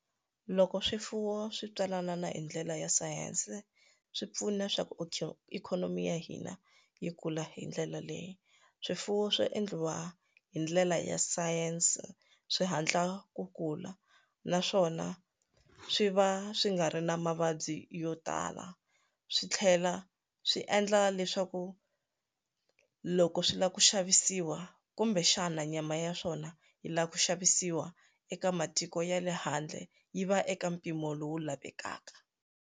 Loko swifuwo swi tswalana na hi ndlela ya sayense swipfuna swa ku ikhonomi ikhonomi ya hina yi kula hi ndlela leyi swifuwo swo endliwa hi ndlela ya science swi hatla ku kula naswona swi va swi nga ri na mavabyi yo tala swi tlhela swi endla leswaku loko swi lava ku xavisiwa kumbexana nyama ya swona yi lava ku xavisiwa eka matiko ya le handle yi va eka mpimo lowu lavekaka.